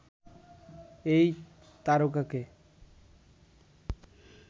এই তারকাকে